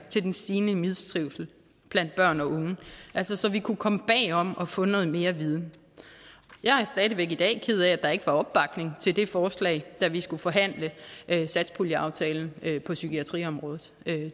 til den stigende mistrivsel blandt børn og unge altså så vi kunne komme bagom og få noget mere viden jeg er stadig væk i dag ked af at der ikke var opbakning til det forslag da vi skulle forhandle satspuljeaftalen på psykiatriområdet